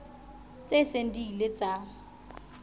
tse seng di ile tsa